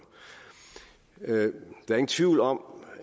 der ingen tvivl om